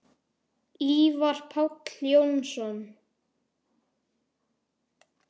Ívar Páll Jónsson